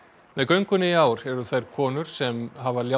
með göngunni í ár eru þær konur sem hafa léð